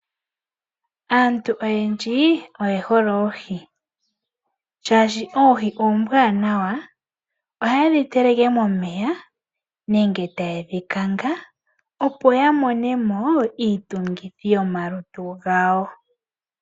Aantu oyendji oye hole oohi shaashi oohi oombwanawa. Ohayedhi teleke momeya nenge taya kanga opo yamonemo iitungithilutu.